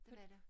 Det var det